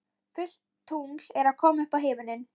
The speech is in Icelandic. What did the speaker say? Fullt tungl er að koma upp á himininn.